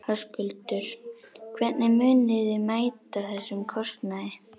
Höskuldur: Hvernig munið þið mæta þessum kostnaði?